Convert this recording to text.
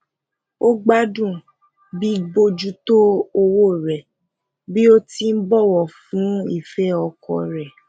ó gbádùn bíbójútó òwò re bi o ti ń bowo fún ìfẹ oko re